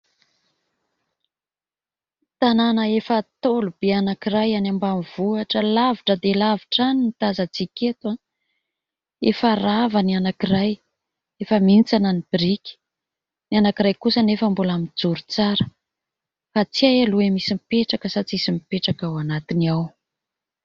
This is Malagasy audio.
Tanàna efa ntaolo be anankiray any ambanivohitra alavitra dia alavitra any no tazantsika eto. Efa rava ny anankiray efa mihintsana ny biriky ; ny anankiray kosa anefa mbola mijoro tsara fa tsy hay aloha hoe misy mipetraka sa tsisy mipetraka ao anatiny ao ?